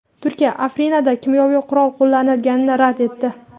Turkiya Afrinda kimyoviy qurol qo‘llanilganini rad etdi.